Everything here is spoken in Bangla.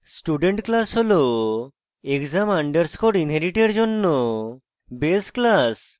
student class হল exam আন্ডারস্কোর inherit এর জন্য base class